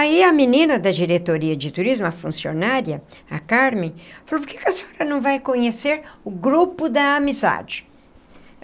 Aí a menina da diretoria de turismo, a funcionária, a Carmen, falou, por que que a senhora não vai conhecer o grupo da amizade?